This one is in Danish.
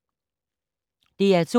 DR2